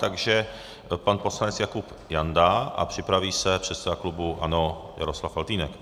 Takže pan poslanec Jakub Janda a připraví se předseda klubu ANO Jaroslav Faltýnek.